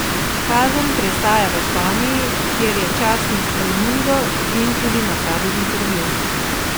Kazen prestaja v Španiji, kjer je časnik El Mundo z njim tudi napravil intervju.